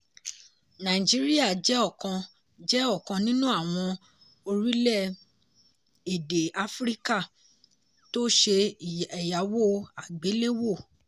nàìjíríà jẹ́ ọ̀kan jẹ́ ọ̀kan nínú àwọn orílẹ̀-èdè áfíríkà tó ṣe ẹ̀yáwó àgbéléwò.